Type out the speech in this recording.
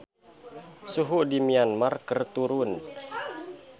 Suhu di Myanmar keur turun